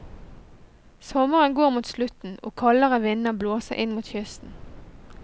Sommeren går mot slutten og kaldere vinder blåser inn mot kysten.